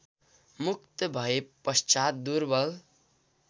मुक्त भएपश्चात् दुर्वल